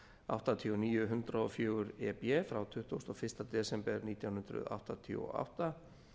áttatíu og níu hundrað og fjögur e b frá tuttugasta og fyrsta desember nítján hundruð áttatíu og átta